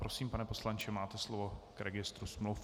Prosím, pane poslanče, máte slovo k registru smluv.